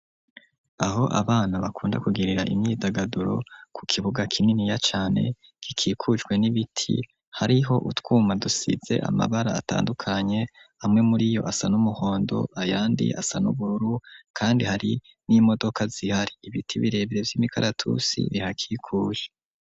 Aho abana, bakunda kugirira, imyidagaduro, ku kibuga, kininiya cane, gikikujwe n'ibiti; hariho utwuma, dusize amabara, atandukanye; amwe muri yo, asa n'umuhondo, ayandi asa n'ubururu; kandi, hari n'imodoka zihari; ibiti birebere, vy'imikaratusi, bihakikuje.